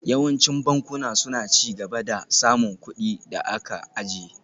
Yawancin bankuna suna ci gaba da samun kuɗin da aka ajiye